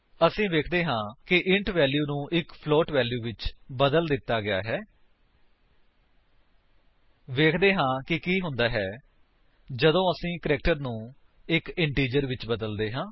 ਅਸੀ ਵੇਖਦੇ ਹਾਂ ਕਿ ਇੰਟ ਵੈਲਿਊ ਨੂੰ ਇੱਕ ਫਲੋਟ ਵੈਲਿਊ ਵਿੱਚ ਬਦਲ ਦਿੱਤਾ ਗਿਆ ਹੈ ਵੇਖਦੇ ਹਾਂ ਕਿ ਕੀ ਹੁੰਦਾ ਹੈ ਜਦੋਂ ਅਸੀ ਇੱਕ ਕੈਰੈਕਟਰ ਨੂੰ ਇੱਕ ਇੰਟੀਜਰ ਵਿੱਚ ਬਦਲਦੇ ਹਾਂ